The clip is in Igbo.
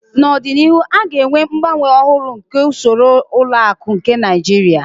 N'ọdịnihu a ga-enwe mgbanwe ọhụrụ nke usoro ụlọ akụ nke Naijiria.